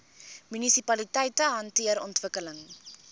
munisipaliteite hanteer ontwikkeling